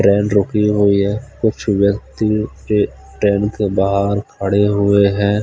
Train रूकी हुई है कुछ व्यक्ति ट्रे-ट्रेन के बाहर खड़े हुए हैं।